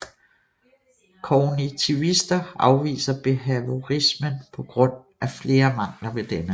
Kognitivister afviser behaviorismen på grund af flere mangler ved denne